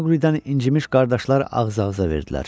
Maqlidən incimiş qardaşlar ağız-ağıza verdilər.